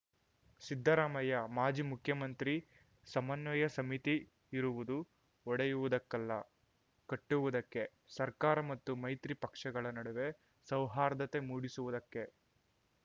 ಸಿದ್ದರಾಮಯ್ಯ ಮಾಜಿ ಮುಖ್ಯಮಂತ್ರಿ ಸಮನ್ವಯ ಸಮಿತಿ ಇರುವುದು ಒಡೆಯುವುದಕ್ಕಲ್ಲ ಕಟ್ಟುವುದಕ್ಕೆ ಸರ್ಕಾರ ಮತ್ತು ಮೈತ್ರಿ ಪಕ್ಷಗಳ ನಡುವೆ ಸೌಹಾರ್ದತೆ ಮೂಡಿಸುವುದಕ್ಕೆ